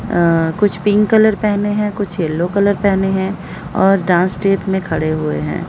अं कुछ pink colour पहने हैं कुछ येलो कलर पहने हैं और डांस स्टेप में खड़े हुए हैं।